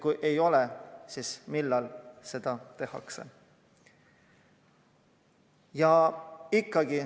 Kui ei arvestata, siis millal seda tegemqa hakatakse?